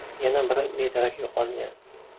Yana biri bedarak yo‘qolgan.